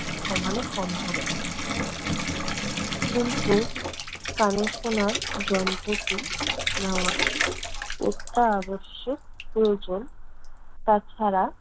কমানো সম্ভব। কিন্তু কানে শোনার যন্ত্রটি নেওয়া অত্যাবশ্যক প্রয়োজন। তাছাড়া